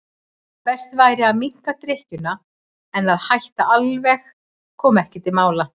Best væri að minnka drykkjuna en að hætta alveg kom ekki til mála.